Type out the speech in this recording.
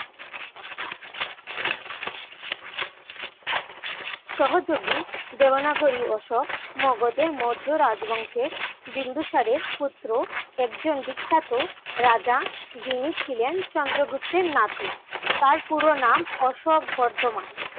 সহযোগী দেবানগরী অশোক মগধের মধ্য রাজবংশে বিন্দুসারের পুত্র একজন বিখ্যাত রাজা যিনি ছিলেন চন্দ্রগুপ্তের নাতি। তার পুরোনাম অশোক বদ্ধমান।